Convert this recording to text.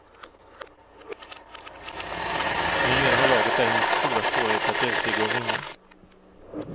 Numera har laget däremot stora svårigheter att övertyga och vinna.